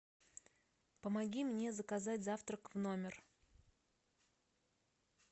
помоги мне заказать завтрак в номер